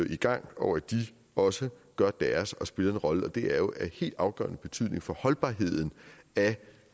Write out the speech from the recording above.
i gang og at de også gør deres og spiller en rolle og det er jo af helt afgørende betydning for holdbarheden af